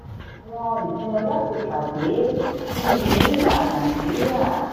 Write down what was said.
àwọn ìpinnu láti pàdé ní unilever nigeria